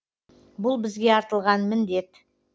бұл бізге артылған міндет